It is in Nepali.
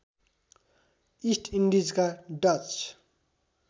इस्ट इन्डिजका डच